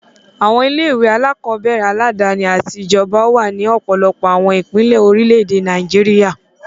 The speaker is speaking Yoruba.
Àwọn ilé-ìwé alákọ̀ọ́bẹ̀rẹ̀ aládàáni àti ti ìjọba wà ní ọ̀pọ̀lọpọ̀ àwọn ìpínlẹ̀ orílẹ̀-èdè Nàìjíríà.